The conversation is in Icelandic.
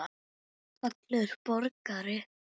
Fallegur borgari?